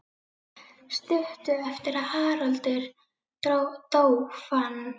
Stuttu eftir að Haraldur dó fann